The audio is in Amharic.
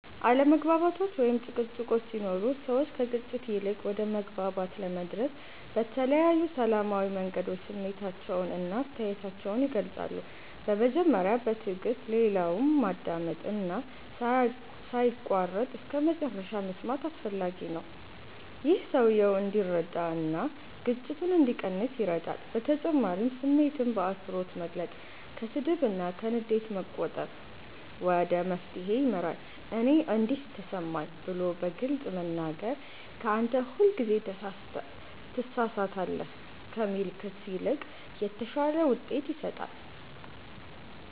አለመግባባቶች ወይም ጭቅጭቆች ሲኖሩ ሰዎች ከግጭት ይልቅ ወደ መግባባት ለመድረስ በተለያዩ ሰላማዊ መንገዶች ስሜታቸውን እና አስተያየታቸውን ይገልጻሉ። በመጀመሪያ በትዕግስት ሌላውን ማዳመጥ እና ሳይቋረጥ እስከመጨረሻ መስማት አስፈላጊ ነው። ይህ ሰውየው እንዲረዳ እና ግጭቱ እንዲቀንስ ይረዳል በተጨማሪም ስሜትን በአክብሮት መግለጽ፣ ከስድብ እና ከንዴት መቆጠብ ወደ መፍትሄ ይመራል። “እኔ እንዲህ ተሰማኝ” ብሎ በግልጽ መናገር ከ “አንተ ሁልጊዜ ትሳሳታለህ” ከሚል ክስ ይልቅ የተሻለ ውጤት ይሰጣል።